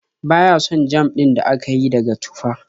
Ba ya son jam din da aka yi daga tufah.